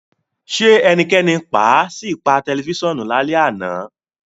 Ṣe ẹnikẹni paa si pa tẹlifisiọnu lalẹ ana?